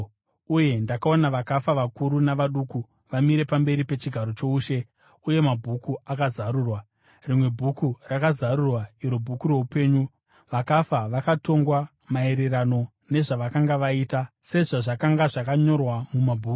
Uye ndakaona vakafa, vakuru navaduku, vamire pamberi pechigaro choushe, uye mabhuku akazarurwa. Rimwe bhuku rakazarurwa, iro bhuku roupenyu. Vakafa vakatongwa maererano nezvavakanga vaita sezvazvakanga zvakanyorwa mumabhuku.